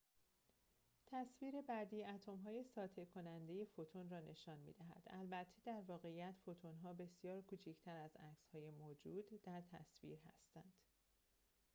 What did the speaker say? تصویر بعدی اتم‌های ساطع کننده فوتون را نشان می دهد البته در واقعیت فوتون‌ها بسیار کوچکتر از عکسهای موجود در تصویر هستند